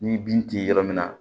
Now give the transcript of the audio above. Ni bin tɛ yɔrɔ min na